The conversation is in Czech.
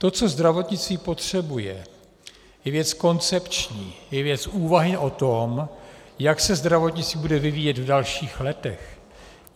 To, co zdravotnictví potřebuje, je věc koncepční, je věc úvahy o tom, jak se zdravotnictví bude vyvíjet v dalších letech.